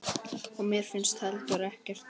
Og mér finnst heldur ekkert.